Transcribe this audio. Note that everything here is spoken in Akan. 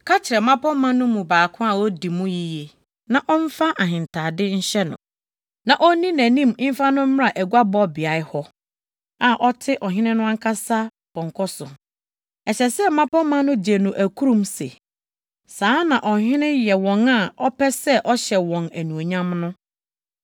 Ka kyerɛ mmapɔmma no mu baako a odi mu yiye, na ɔmfa ahentade nhyɛ no, na onni nʼanim mfa no mmra aguabɔbea hɔ a ɔte ɔhene no ankasa pɔnkɔ so. Ɛsɛ sɛ mmapɔmma no gye no akurum se, ‘Saa na ɔhene yɛ wɔn a ɔpɛ sɛ ɔhyɛ wɔn anuonyam no!’ ”